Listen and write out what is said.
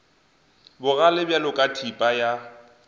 bogale bjalo ka thipa ya